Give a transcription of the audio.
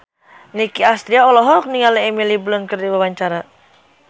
Nicky Astria olohok ningali Emily Blunt keur diwawancara